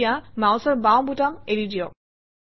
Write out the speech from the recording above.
এতিয়া মাউচৰ বাওঁ বুটাম এৰি দিয়ক